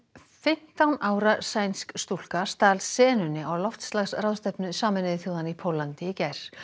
fimmtán ára sænsk stúlka stal senunni á loftslagsráðstefnu Sameinuðu þjóðanna í Póllandi í gær